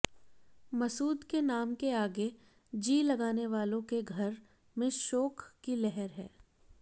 मसूद के नाम के आगे जी लगाने वालों के घर में शोक की लहर है